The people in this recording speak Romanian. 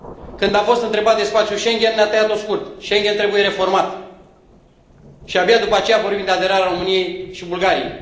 Când a fost întrebat de spațiul Schengen, ne a tăiat o scurt Schengen trebuie reformat și, abia după aceea, vorbim de aderarea României și a Bulgariei.